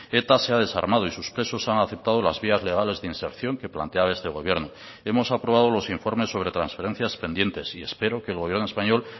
eta se ha desarmado y sus presos han aceptado las vías legales de inserción que planteaba este gobierno hemos aprobado los informes sobre transferencias pendientes y espero que el gobierno español